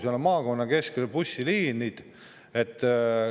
Seal on maakonna bussiliinide keskus.